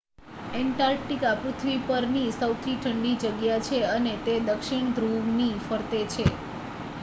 Antarctica પૃથ્વી પર ની સૌથી ઠંડી જગ્યા છે અને તે દક્ષિણ ધ્રુવ ની ફરતે છે